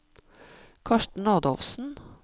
Karsten Adolfsen